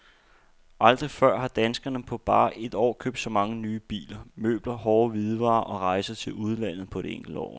Aldrig før har danskerne på bare et år købt så mange nye biler, møbler, hårde hvidevarer og rejser til udlandet på et enkelt år.